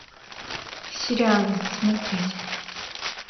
сериалы смотреть